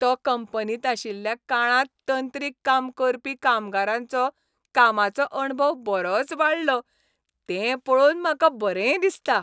तो कंपनींत आशिल्ल्या काळांत तंत्रीक काम करपी कामगारांचो कामाचो अणभव बरोच वाडलो ते पळोवन म्हाका बरें दिसता.